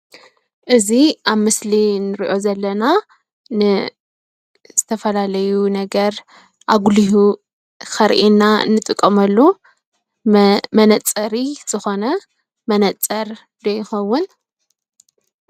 እዚ ኣብ ምስሊ ንርኦ ዘለና ንዝተፈላለዩ ነገር ኣጉልሁ ከርኢና ንጥቀመሉ መነፀሪ ዝኾነ መነፅር ዶ ይኸውን ?